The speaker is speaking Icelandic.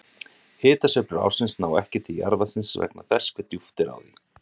hitasveiflur ársins ná ekki til jarðvatnsins vegna þess hve djúpt er á því